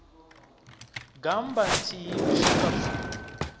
gammba nthihi u swika pfulo